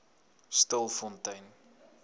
stilfontein